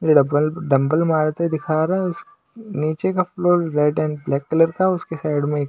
double dumbbell मारते दिखा रहा है उस नीचे का floor red and black colour का उसके साइड में--